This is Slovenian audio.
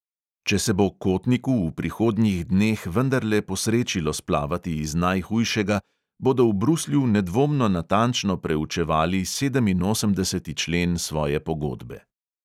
Če se bo kotniku v prihodnjih dneh vendarle posrečilo splavati iz najhujšega, bodo v bruslju nedvomno natančno preučevali sedeminosemdeseti člen svoje pogodbe.